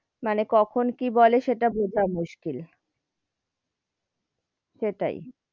মানে কখন কি বলে সেটা বোঝা মুশকিল, সেটাই,